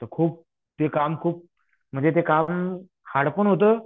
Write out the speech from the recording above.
तर खूप ते काम खूप म्हणजे काम हार्ड पण होतं